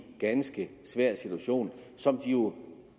ganske svær situation som de jo